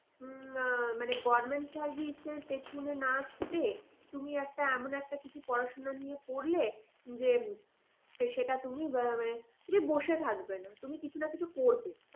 উম আহ মানে government চাকরির পেছনে না ছুটে তুমি একটা এমন একটা কিছু পড়াশোনা নিয়ে পড়লে যে সেটা তুমি মানে যে বসে থাকবে না তুমি কিছু না কিছু করবে। তাই না